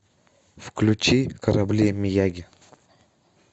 включи корабли мияги